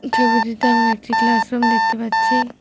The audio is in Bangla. এই ছবিটিতে আমরা একটি ক্লাসরুম দেখতে পাচ্ছি।